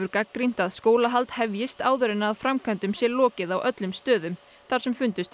gagnrýnt að skólahald hefjist áður en framkvæmdum sé lokið á öllum stöðum þar sem fundust